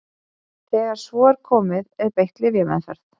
þegar svo er komið er beitt lyfjameðferð